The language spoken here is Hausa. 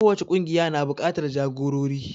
Kowace ƙungiya na buƙatar jagorori.